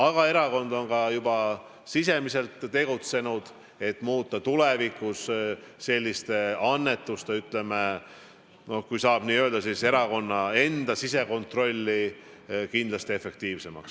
Aga erakond on juba sisemiselt tegutsenud, et muuta tulevikus, kui saab nii öelda, erakonna enda sisekontrolli selliste annetuste puhul kindlasti efektiivsemaks.